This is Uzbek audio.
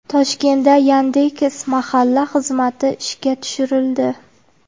Toshkentda Yandex.Mahalla xizmati ishga tushirildi.